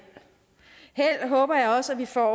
håber jeg også at vi får